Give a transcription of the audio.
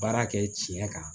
Baara kɛ tiɲɛ kan